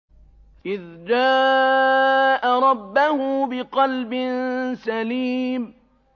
إِذْ جَاءَ رَبَّهُ بِقَلْبٍ سَلِيمٍ